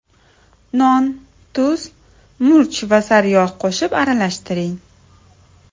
Non, tuz, murch va sariyog‘ qo‘shib aralashtiring.